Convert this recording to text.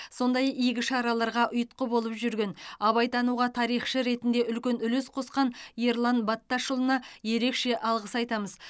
сондай игі шараларға ұйытқы болып жүрген абайтануға тарихшы ретінде үлкен үлес қосқан ерлан батташұлына ерекше алғыс айтамыз